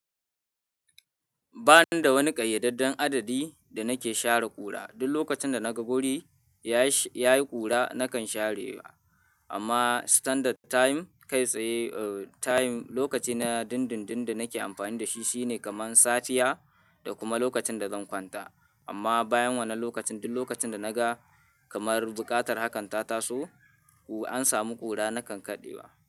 Ba ni da wani ƙayyadadden adadi da nake share ƙura. Duk lokacin da na ga guri ya yi ƙura, nakan sharewa. Amma standard time, kai tsaye, time lokaci na dundun da nake amfani da shi shine kamar safiya da kuma lokacin da zan kwanta. Amma bayan wannan lokacin, duk lokacin da na ga kamar buƙatar hakan ta taso, an sami ƙura nakan kaɗewa.